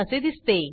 असे दिसते